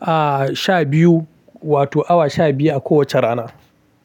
ah, sha biyu wato awa sha biyu a kowace rana.